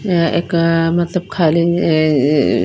यहाँ एक अ एक मतलब खाली अ अ--